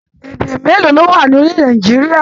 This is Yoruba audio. Èdè mélòó ló wà ní orílẹ̀-èdè Nàìjíríà?